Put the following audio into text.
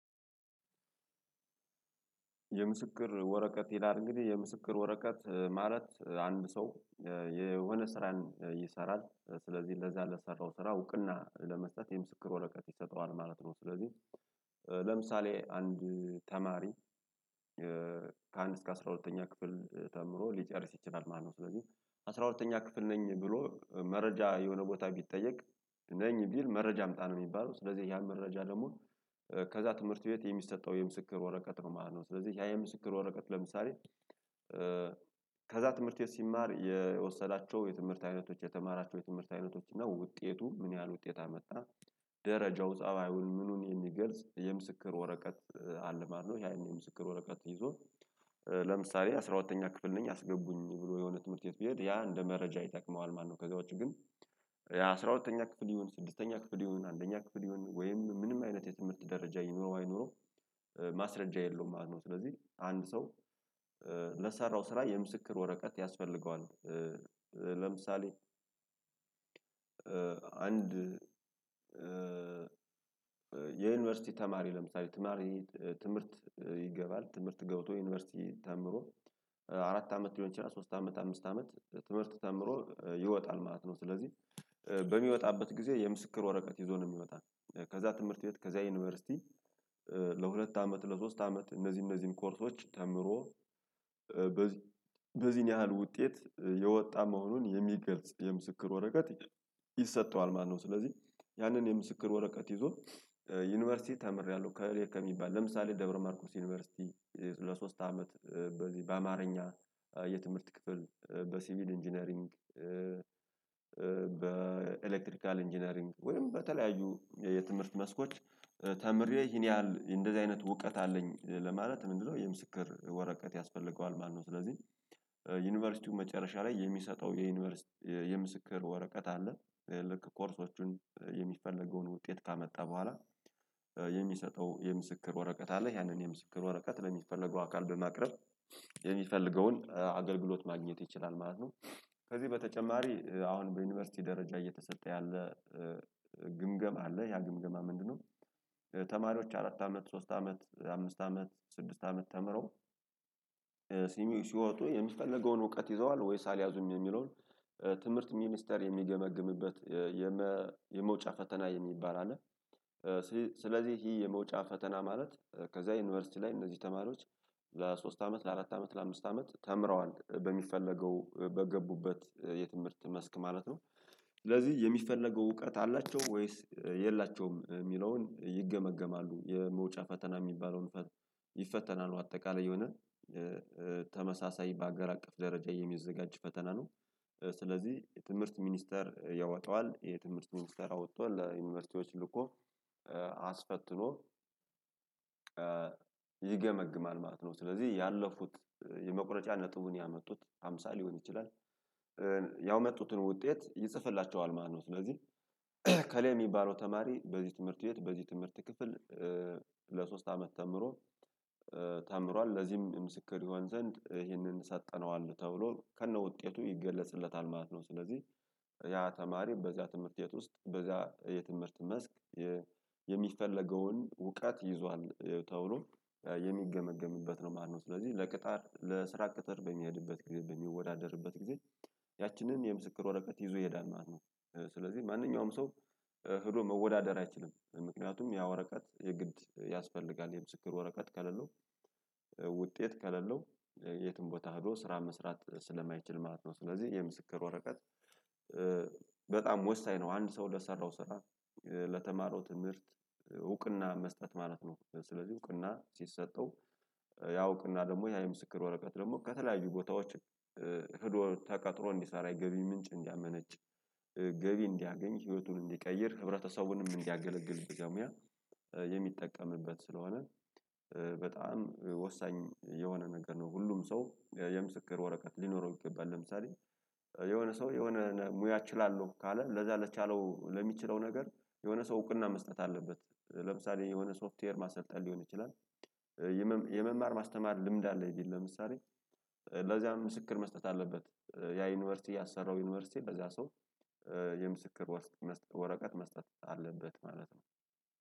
የምስክር ወረቀት ይላል እንግዲህ የምስክር ወረቀት ማለት አንድ ሰው የሆነ ስራን ይሰራል ስለዚህ ለዛ ለሰራው ስራ እውቅና ለመስጠት የምስክር ወረቀት ይሰጠዋል ማለት ነው። ስለዚህ ለምሳሌ አንድ ተማሪ ከአንድ እስከ አስራ ሁለተኛ ክፍል ተምሮ ሊጨርስ ይችላል ማለት ነው። ስለዚህ አስራ ሁለተኛ ክፍል ነኝ ብሎ መረጃ የሆነ ቦታ ቢጠየቅ ነኝ ቢል መረጃ አምጣ ነው የሚባለው ስለዚህ ያን መረጃ ደግሞ ከዛ ትምህርት ቤት የሚሰጠው የምስክር ወረቀት ነው ማለት ነው። ስለዚህ ያ የምስክር ወረቀት ለምሳሌ ከዛ ትምህርት ቤት ሲማር የወሰዳቸው የትምህርት አይነቶች የተማራቸው የትምህርት አይነቶች እና ውጤቱ ምን ያህል ውጤት አመጣ ደረጃው ጻባዩን ምኑን የሚገልጽ የምስክር ወረቀት አለ ማለት ነው። ያን የምስክር ወረቀት ይዞ ለምሳሌ አስራ ሁለተኛ ክፍል ነኝ አስገቡኝ ብሎ የሆነ ትምህርት ቤት ቢሄድ ያ እንደ መረጃ ይጠቅመዋል ማለት ነው። ከዛ ውጪ ግን የአስራ ሁለተኛ ክፍል ይሁን ስድስተኛ ክፍል ይሁን አንደኛ ክፍል ይሁን ወይም ምንም አይነት የትምህርት ደረጃ ይኑረው አይኑረው ማስረጃ የለውም ማለት ነው። ስለዚህ አንድ ሰው ለሰራው ስራ የምስክር ወረቀት ያስፈልገዋል። ለምሳሌ አንድ የዩኒቨርሲቲ ተማሪ ለምሳሌ ተማሪ ትምህርት ይገባል ትምህርት ገብቶ ዩኒቨርሲቲ ተምሮ አራት አመት ሊሆን ይችላል ራሱ ሶስት አመት አምስት አመት ትምህርት ተምሮ ይወጣል ማለት ነው። ስለዚህ በሚወጣበት ጊዜ የምስክር ወረቀት ይዞ ነው የሚወጣው። ከዛ ትምህርት ቤት ከዛ ዩኒቨርሲቲ ለሁለት አመት ለሶስት አመት እነዚህ እነዚህን ኮርሶች ተምሮ በዚህን ያህል ውጤት የወጣ መሆኑን የሚገልጽ የምስክር ወረቀት ይሰጠዋል ማለት ነው። ስለዚህ ያንን የምስክር ወረቀት ይዞ ዩኒቨርሲቲ ተምሬያለሁ እከሌ ከሚባል ለምሳሌ ደብረማርቆስ ዩኒቨርሲቲ ለሶስት አመት በዚህ በአማርኛ የትምህርት ክፍል በሲቪል ኢንጂነሪንግ በኤሌክትሪካል ኢንጂነሪንግ ወይም በተለያዩ የትምህርት መስኮች ተምሬ ይሄን ያህል እንደዚህ አይነት እውቀት አለኝ ለማለት ምንድነው የምስክር ወረቀት ያስፈልገዋል ማለት ነው። ስለዚህ ዩኒቨርሲቲው መጨረሻ ላይ የሚሰጠው የዩኒቨርሲቲ የምስክር ወረቀት አለ ልክ ኮርሶቹን የሚፈለገውን ውጤት ካመጣ በኋላ የሚሰጠው የምስክር ወረቀት አለ ያንን የምስክር ወረቀት ለሚፈለገው አካል በማቅረብ የሚፈልገውን አገልግሎት ማግኘት ይችላል ማለት ነው። ከዚህ በተጨማሪ አሁን በዩኒቨርሲቲ ደረጃ እየተሰጠ ያለ ግምገማ አለ ያ ግምገማ ምንድነው? ተማሪዎች አራት አመት ሶስት አመት አምስት አመት ስድስት አመት ተምረው ሲሚው ሲወጡ የሚፈለገውን እውቀት ይዘዋል ወይስ አልያዙም የሚለውን ትምህርት ሚኒስተር የሚገመግምበት የመውጫ ፈተና የሚባል አለ። ስለዚህ ይሄ የመውጫ ፈተና ማለት ከዛ ዩኒቨርሲቲ ላይ እነዚህ ተማሪዎች ለሶስት አመት ለአራት አመት ለአምስት አመት ተምረዋል በሚፈለገው በገቡበት የትምህርት መስክ ማለት ነው። ስለዚህ የሚፈለገው እውቀት አላቸው ወይስ የላቸውም የሚለውን ይገመገማሉ የመውጫ ፈተና የሚባለውን ይፈተናል አጠቃላይ የሆነ ተመሳሳይ በአገር አቀፍ ደረጃ የሚዘጋጅ ፈተና ነው። ስለዚህ የትምህርት ሚኒስተር ያወጣዋል የትምህርት ሚኒስተር አውጥቶ ለዩኒቨርሲቲዎች ልኮ አስፈትኖ ይገመግማል ማለት ነው። ስለዚህ ያለፉት የመቁረጫ ነጥቡን ያመጡት ሃምሳ ሊሆን ይችላል። ያመጡትን ውጤት ይጽፍላቸዋል ማለት ነው። ስለዚህ እከሌ የሚባለው ተማሪ በዚህ ትምህርት ቤት በዚህ ትምህርት ክፍል ለሶስት አመት ተምሮ ተምሯል ለዚህም ምስክር ይሆን ዘንድ ይህንን ሰተነዋል ተብሎ ከነ ውጤቱ ይገለጽለታል ማለት ነው። ስለዚህ ያ ተማሪ በዚያ ትምህርት ቤት ውስጥ በዚያ የትምህርት መስክ የሚፈለገውን እውቀት ይዟል ተብሎ የሚገመገምበት ነው ማለት ነው። ስለዚህ ለቅጣር ለስራ ቅጥር በሚሄድበትጊዜ በሚወዳደርበት ጊዜ ያችንን የምስክር ወረቀት ይዞ ይሄዳል ማለት ነው። ስለዚህ ማንኛውም ሰው ሄዶ መወዳደር አይችልም ምክንያቱም ያ ወረቀት የግድ ያስፈልጋል የምስክር ወረቀት ከሌለው ውጤት ከሌለው የትም ቦታ ሄዶ ስራ መስራት ስለማይችል ማለት ነው። ስለዚህ የምስክር ወረቀት በጣም ወሳኝ ነው። አንድ ሰው ለሰራው ስራ ለተማረው ትምህርት እውቅና መስጠት ማለት ነው። ስለዚህ እውቅና ሲሰጠው ያ እውቅና ደግሞ ያ የምስክር ወረቀት ደግሞ ከተለያዩ ቦታዎች ሂዶ ተቀጥሮ እንዲሰራ የገቢ ምንጭ እንዲያመነጭ ገቢ እንዲያገኝ ህይወቱን እንዲቀይር ህብረተሰቡንም እንዲያገለግል በዛ ሙያ የሚጠቀምበት ስለሆነ በጣም ወሳኝ የሆነ ነገር ነው። ሁሉም ሰው የምስክር ወረቀት ሊኖረው ይገባል። ለምሳሌ የሆነ ሰው የሆነ ሙያ እችላለሁ ካለ ለዛ ለቻለው ለሚችለው ነገር የሆነ ሰው እውቅና መስጠት አለበት። ለምሳሌ የሆነ ሶፍትዌር ማሰልጠን ሊሆን ይችላል። የመማር ማስተማር ልምድ አለኝ ቢል ለምሳሌ ለዚያም ምስክር መስጠት አለበት። ያ ዩኒቨርሲቲ ያሰራው ዩኒቨርሲቲ በዛ ሰው የምስክር ወረቀት መስጠት አለበት ማለት ነው።